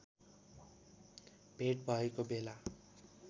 भेट भएको बेला